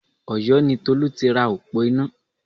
Ọ̀yó ni Tolú tira òpó iná